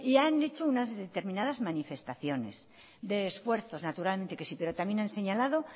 han hecho unas determinadas manifestaciones de esfuerzos naturalmente pero también han señalado